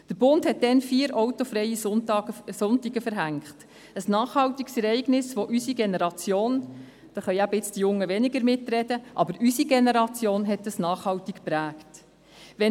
Der Bund verhängte damals vier autofreie Sonntage – ein Ereignis, das unsere Generation – die Jungen können weniger mitreden – nachhaltig geprägt hat.